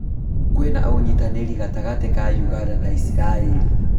Kwĩna ũnyitanĩri gatagatĩ ka ũganda na Israĩri